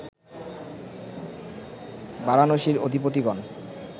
বারাণসীর অধিপতিগণ